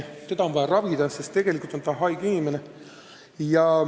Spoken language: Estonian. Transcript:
Neid on vaja ravida, sest tegelikult on nad haiged inimesed.